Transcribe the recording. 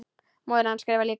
Móðir hans skrifar líka.